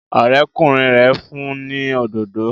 Ọ̀rẹ́kùnrin rẹ̀ fún ni òdodo